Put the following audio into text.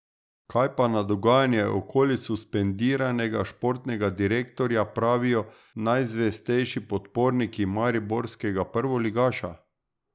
Kaj pa na dogajanje okoli suspendiranega športnega direktorja pravijo najzvestejši podporniki mariborskega prvoligaša?